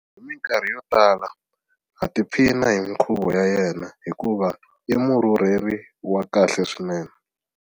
Hi mikarhi yo tala ha tiphina hi mikhuvo ya yena hikuva i murhurheli wa kahle swinene.